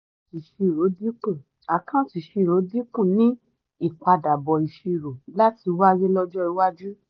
àkáǹtì ìṣirò dínkù àkáǹtì ìṣirò dínkù ní ìpadàbọ̀ ṣírò láti wáyé ọjọ́ iwájú.